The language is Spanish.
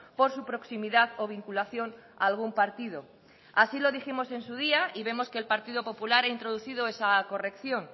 por su proximidad o vinculación algún partido así lo dijimos en su día y vemos que el partido popular ha introducido esa corrección